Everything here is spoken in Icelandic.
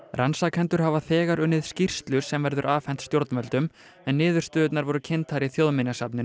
rannsakendur hafa þegar unnið skýrslu sem verður afhent stjórnvöldum en niðurstöðurnar voru kynntar í Þjóðminjasafninu